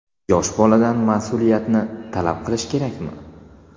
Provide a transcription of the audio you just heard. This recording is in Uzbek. Yosh boladan mas’uliyatni talab qilish kerakmi?.